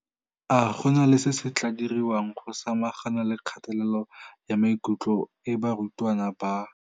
A go na le se se tla diriwang go samagana le kgatelelo ya maikutlo e barutwana ba.